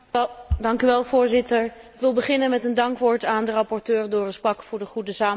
Voorzitter, ik wil beginnen met een dankwoord aan rapporteur Doris Pack voor de goede samenwerking.